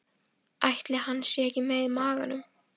Ætli hann sé ekki með í maganum?